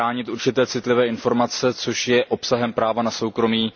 chránit určité citlivé informace, což je obsahem práva na soukromí.